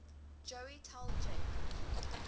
joey tell jake